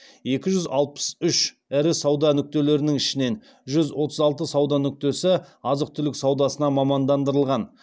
екі жүз алпыс үш ірі сауда нүктелерінің ішінен жүз отыз алты сауда нүктесі азық түлік саудасына мамандандырылған